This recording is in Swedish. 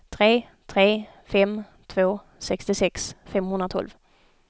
tre tre fem två sextiosex femhundratolv